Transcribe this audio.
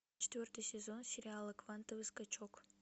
четвертый сезон сериала квантовый скачок